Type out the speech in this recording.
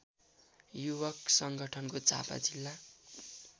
युवक संगठनको झापा जिल्ला